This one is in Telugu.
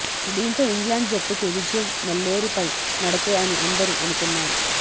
దీనితో ఇంగ్లాండ్ జట్టుకి విజయం నల్లేరు పై నడకే అని అందరూ అనుకున్నారు